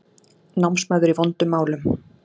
Námsmaður í vondum málum